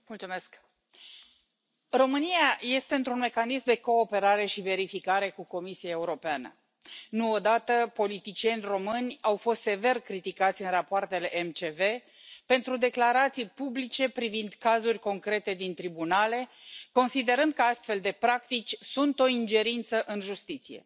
Doamnă președintă, România este într un mecanism de cooperare și verificare cu Comisia Europeană. Nu o dată, politicieni români au fost sever criticați în rapoartele MCV pentru declarații publice privind cazuri concrete din tribunale, considerând că astfel de practici sunt o ingerință în justiție.